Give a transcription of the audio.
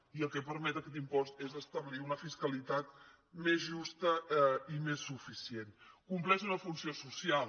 i el que permet aquest impost és establir una fiscalitat més justa i més suficient compleix una funció social